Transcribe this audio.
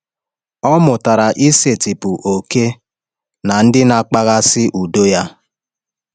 Ọ mụtara isetịpụ oke na ndị na-akpaghasị udo ya.